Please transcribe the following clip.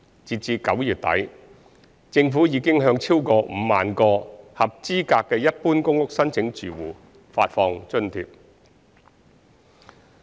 截至9月底，政府已向超過5萬個合資格的一般公屋申請住戶發放津貼。